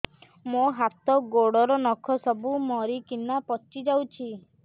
ମୋ ହାତ ଗୋଡର ନଖ ସବୁ ମରିକିନା ପଚି ଯାଉଛି